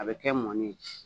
A bɛ kɛ mɔni ye